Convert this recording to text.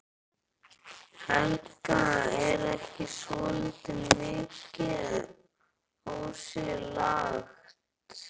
Hún ætlar auðheyrilega ekki að segja of mikið strax.